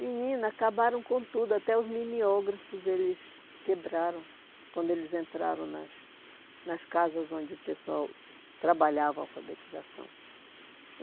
Menina, acabaram com tudo, até os mimeógrafos eles quebraram quando eles entraram nas nas casas onde o pessoal trabalhava a alfabetização.